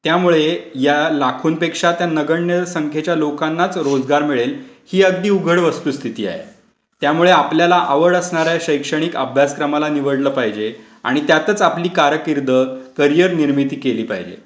त्यामुळे या लाखोंपेक्षा त्या नगण्य संख्येच्या लोकांनाचं रोजगार मिळेल ही अगदी उघड वस्तुस्थिती आहे. त्यामुळे आपल्याला आवड असणारे शैक्षणिक अभ्यासक्रमाला निवडलं पाहिजे आणि त्यातच आपली कारकीर्द करियर निर्मिती केली पाहिजे.